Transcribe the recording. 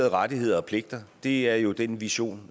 rettigheder og pligter det er jo den vision